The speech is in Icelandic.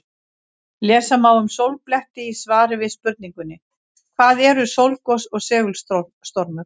Lesa má um sólbletti í svari við spurningunni Hvað eru sólgos og segulstormur?